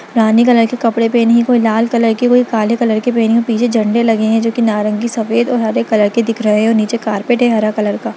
रानी colour के कपड़े पेहने है कोई लाल कलर के कोई काले कलर के पेहने है पीछे झंडे लगे हैं जो कि नारंगी सफ़ेद हरे रंग के दिख रहे है और नीचे कारपेट है हरा कलर का।